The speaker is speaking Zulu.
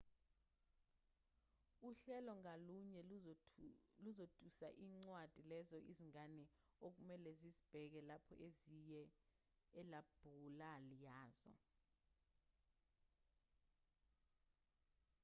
uhlelo ngalunye luzotusa izincwadi lezo izingane okumelwe zizibheke lapho ziye elabhulali yazo